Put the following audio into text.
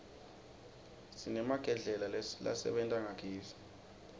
sinemagedlela lasebenta ngagezi